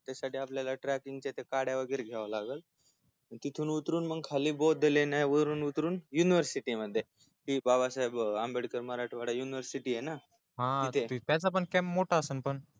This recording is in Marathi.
त्यासाठी आपल्याला ट्रेकिंग च्या त्या काड्या वैगरे घ्याव्या लागल तिथून उतरुन मग खाली बौद्ध लेण्यावरुन उतरून मग युनिवर्सिटी मध्ये बाबासाहेब आंबेडकर मराठवाडा युनिवर्सिटीय ना तिथे